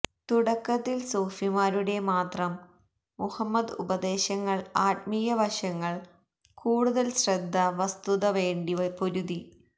തുടക്കത്തിൽ സൂഫിമാരുടെ മാത്രം മുഹമ്മദ് ഉപദേശങ്ങൾ ആത്മീയ വശങ്ങൾ കൂടുതൽ ശ്രദ്ധ വസ്തുത വേണ്ടി പൊരുതി